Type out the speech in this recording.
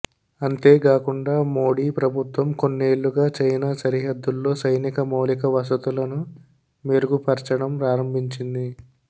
అంతేగాకుండా మోడీ ప్రభుత్వం కొన్నేళ్లుగా చైనా సరిహద్దుల్లో సైనిక మౌలిక వసతులను మెరుగుపర్చడం ప్రారంభించింది